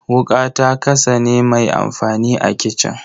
Wuƙa ta kasane mai amfani a kicin.